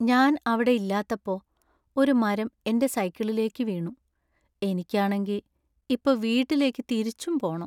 ഞാൻ അവിടെ ഇല്ലാത്തപ്പോ ഒരു മരം എന്‍റെ സൈക്കിളിലേക്കു വീണു. എനിക്കാണെങ്കി, ഇപ്പോ വീട്ടിലേക്ക് തിരിച്ചും പോണം .